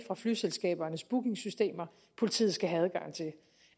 flyselskabernes bookingsystemer politiet skal have